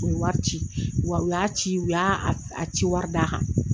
U ye wari ci u y'a ci u y'a a ciwari da a kan